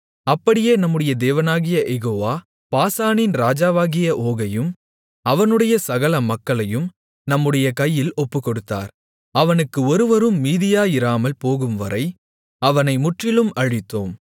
அப்படியே நம்முடைய தேவனாகிய யெகோவா பாசானின் ராஜாவாகிய ஓகையும் அவனுடைய சகல மக்களையும் நம்முடைய கையில் ஒப்புக்கொடுத்தார் அவனுக்கு ஒருவரும் மீதியாயிராமல்போகும்வரை அவனை முற்றிலும் அழித்தோம்